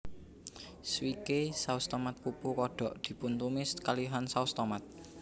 Swike saus tomat pupu kodok dipuntumis kalihan saos tomat